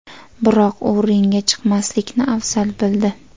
Biroq u ringga chiqmaslikni afzal bildi.